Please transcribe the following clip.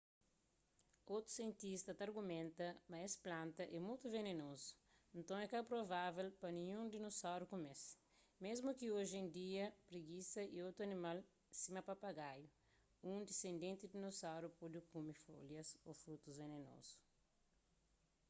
otus sientista ta argumenta ma es plantas é mutu venenozu nton é ka provável pa ninhun dinosauru kume-s mésmu ki oji en dia pregisa y otus animal sima papagaiu un disendenti di dinosaurus pode kume folhas ô frutus venenozu